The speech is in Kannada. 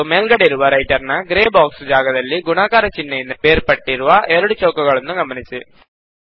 ಮತ್ತು ಮೇಲ್ಗಡೆ ಇರುವ ರೈಟರ್ ನ ಗ್ರೇ ಬಾಕ್ಸ್ ಜಾಗದಲ್ಲಿ ಗುಣಾಕಾರ ಚಿಹ್ನೆಯಿಂದ ಬೇರ್ಪಟ್ಟಿರುವ ಎರಡು ಚೌಕಗಳನ್ನು ಗಮನಿಸಿ